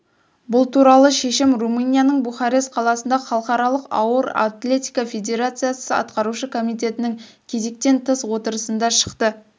бұл туралы шешім румынияның бухарест қаласында халықаралық ауыр атлетика федерациясы атқарушы комитетінің кезектен тыс отырысында шықты